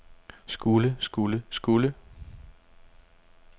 skulle skulle skulle